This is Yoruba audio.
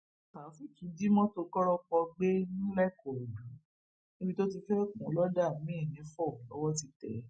taofeek jí mọtò kọrọpọ gbé ńlẹkọrọdù níbi tó ti fẹẹ kùn ún lọdà miín nifó lowó ti tẹ ẹ